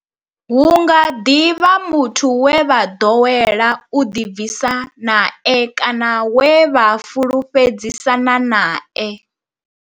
Hu nga ḓi vha muthu we vha ḓowela u ḓi bvisa nae kana we vha fhulufhedzisana nae.